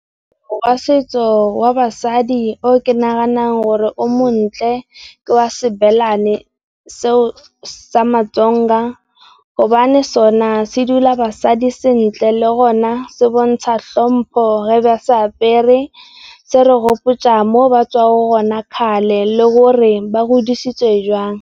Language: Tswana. Moaparo wa setso wa basadi o ke naganang gore o montle ke wa se belane, sa Matsonga gobane sona se dula basadi sentle le gona se bontsha tlhompo ga ba se apere. Se re gopotsa mo ba tswang kgale le gore ba godisitswe jwang.